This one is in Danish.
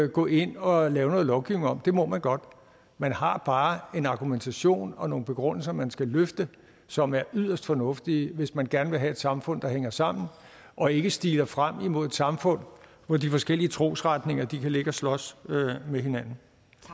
gå ind og lave noget lovgivning om for det må man godt man har bare en argumentation og nogle begrundelser man skal løfte som er yderst fornuftige hvis man gerne vil have et samfund der hænger sammen og ikke stiler frem imod et samfund hvor de forskellige trosretninger kan ligge og slås med hinanden